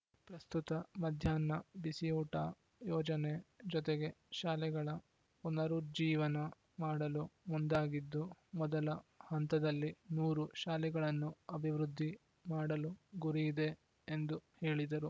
ಪ್ರಸ್ತುತ ಮಧ್ಯಾಹ್ನ ಬಿಸಿಯೋಟ ಯೋಜನೆ ಜೊತೆಗೆ ಶಾಲೆಗಳ ಪುನರುಜ್ಜೀವನ ಮಾಡಲು ಮುಂದಾಗಿದ್ದು ಮೊದಲ ಹಂತದಲ್ಲಿ ನೂರು ಶಾಲೆಗಳನ್ನು ಅಭಿವೃದ್ಧಿ ಮಾಡುಲು ಗುರಿಯಿದೆ ಎಂದು ಹೇಳಿದರು